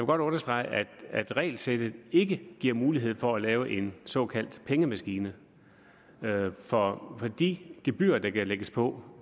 godt understrege at regelsættet ikke giver mulighed for at lave en såkaldt pengemaskine for de gebyrer der kan lægges på